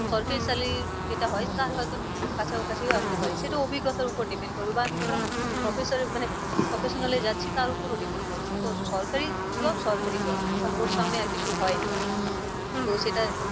সরকারি salary যেটা হয় তার হয় তো কাছা কাছি ও আসতে পারি। সেটা অভিজ্ঞতার ওপর depend করবে বা আমি কোন professor মানে professional এ যাচ্ছি তার ওপরেও depend করবে। তো সরকারি job সরকারি job কারণ ওর সামনে আর কিছু হয় না। তো সেটা